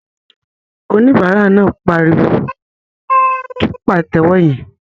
Oníbàárà náà pariwo "tú pàtẹ́wọ́ yẹn!"